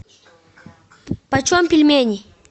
почем пельмени